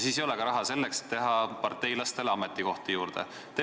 Siis ei ole raha ka selleks, et teha parteilastele ametikohti juurde.